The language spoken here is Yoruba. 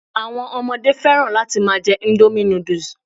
Àwọn ọmọdé fẹ́ràn láti máa jẹ́ indomie noodles